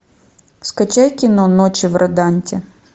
скачай кино ночи в роданте